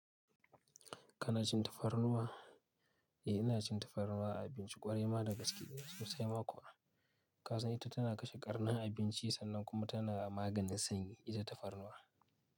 Kana cin tafarnuwa? Eh ina cin tafarnuwa, abinci kwarai ma da gaske sosai ma kuwa. Ka san ita tana kashe ƙarnin abinci sannan kuma tana maganin sanyi ita tafarnuwa.